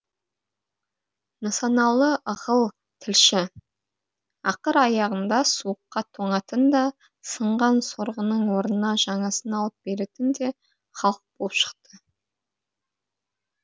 нысаналы ығыл тілші ақыр аяғында суыққа тоңатын да сынған сорғының орнына жаңасын алып беретін де халық болып шықты